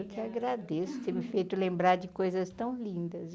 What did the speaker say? Eu que agradeço ter me feito lembrar de coisas tão lindas.